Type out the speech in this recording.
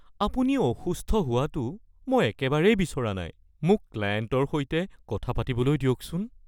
আপুনি অসুস্থ হোৱাটো মই একেবাৰেই বিচৰা নাই। মোক ক্লায়েণ্টৰ সৈতে কথা পাতিবলৈ দিয়কচোন (মেনেজাৰ)